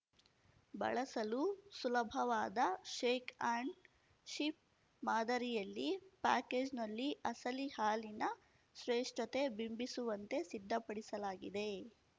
ಬಳಸಲು ಸುಲಭವಾದ shake and ship ಮಾದರಿಯಲ್ಲಿ ಪ್ಯಾಕೇಜ್‌ನಲ್ಲಿ ಅಸಲಿ ಹಾಲಿನ ಶ್ರೇಷ್ಠತೆ ಬಿಂಬಿಸುವಂತೆ ಸಿದ್ಧಪಡಿಸಲಾಗಿದೆ